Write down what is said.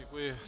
Děkuji.